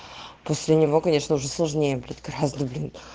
после него конечно уже сложнее блять гораздо блин